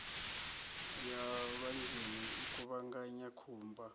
ya lwanzheni u kuvhanganya khumba